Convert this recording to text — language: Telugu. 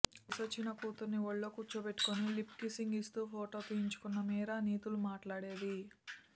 వయసొచ్చిన కూతురిని ఒళ్లో కూర్చోబెట్టుకుని లిప్ కిస్సింగ్ ఇస్తూ ఫోటో తీయించుకున్న మీరా నీతులు మాట్లేడేది